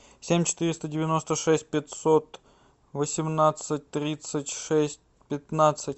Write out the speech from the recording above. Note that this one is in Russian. семь четыреста девяносто шесть пятьсот восемнадцать тридцать шесть пятнадцать